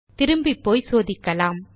திரும்பிப் போய் சோதிக்கலாம்